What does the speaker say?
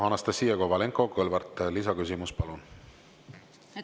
Anastassia Kovalenko-Kõlvart, lisaküsimus, palun!